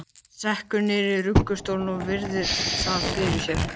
Sekkur niður í ruggustólinn og virðir það fyrir sér.